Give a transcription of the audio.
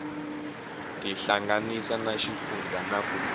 tihlanganisa na xifundzha na ku